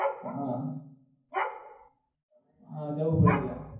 હા હા જવું પડે ત્યાં